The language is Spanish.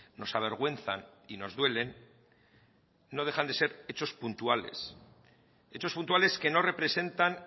nos avergüenzan y nos duelen no dejan de ser hechos puntuales hechos puntuales que no representan